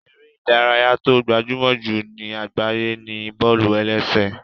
Eré ìdárayá tó gbajúmọ̀ jù ní àgbáyé ni bọ́ọ̀lù-ẹlẹ́sẹ̀